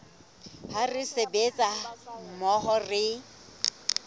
ha re sebetsa mmoho re